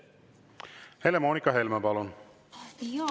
Helle-Moonika Helme, palun!